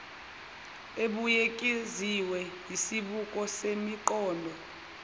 ebuyekeziwe yisibuko semiqondo